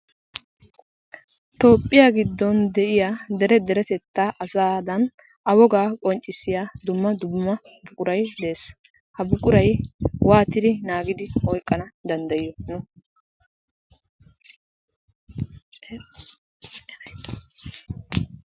Toophphiya giddon de'iya dere deretettaa asaadan A wogaa qonccissiya dumma dumma buquray de'ees. Ha buquray waatidi naagidi oyqqanawu danddayiyo nuuni?